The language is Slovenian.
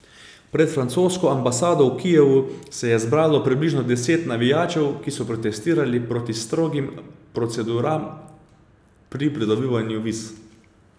Pred francosko ambasado v Kijevu se je zbralo približno deset navijačev, ki so protestirali proti strogim proceduram pri pridobivanju viz.